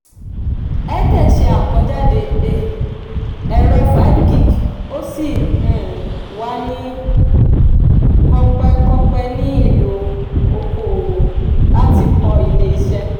airtel se akojade um ẹ̀rọ five g ó sì um wà ní um kọ̀pẹ́-kọ̀pẹ́ nílò oko-òwò láti kọ́ ilé-ìṣe.